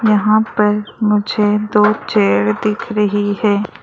यहां पर मुझे दो चेयर दिख रही है।